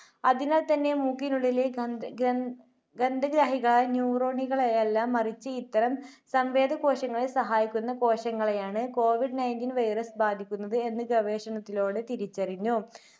അതിനാൽത്തന്നെ മൂക്കിനുള്ളിലെ ഗന്ധ~ഗന്ധ~ഗന്ധഗ്രാഹികളായ neuron നുകളെയല്ല മറിച്ച് ഇത്തരം സംവേദ കോശങ്ങളെ സഹായിക്കുന്ന കോശങ്ങളെയാണ് കോവിഡ് nineteen Virus ബാധിക്കുന്നത് എന്ന് ഗവേഷണത്തിലൂടെ തിരിച്ചറിഞ്ഞു.